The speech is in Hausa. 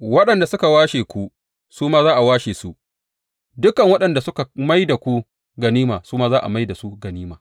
Waɗanda suka washe ku su ma za a washe su; dukan waɗanda suka mai da ku ganima su ma zan mai da su ganima.